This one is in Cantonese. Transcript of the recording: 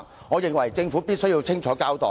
我認為政府必須清楚交代。